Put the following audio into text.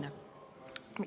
See on oluline.